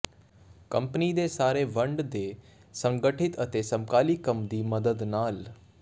company ਦੇ ਸਾਰੇ ਵੰਡ ਦੇ ਸੰਗਠਿਤ ਅਤੇ ਸਮਕਾਲੀ ਕੰਮ ਦੀ ਮਦਦ ਨਾਲ